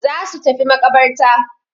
Za su tafi maƙabarta.